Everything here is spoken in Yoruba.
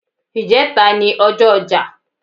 Ìjẹta n ọjọ́ ọja.